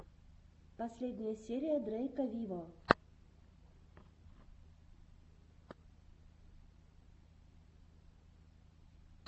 последняя серия дрейка виво